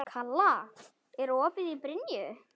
Kala, er opið í Brynju?